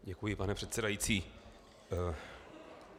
Děkuji, pane předsedající.